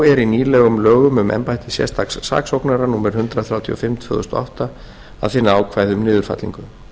þá er í nýlegum lögum um embætti sérstaks saksóknara númer hundrað þrjátíu og fimm tvö þúsund og átta að finna ákvæði um niðurfellingu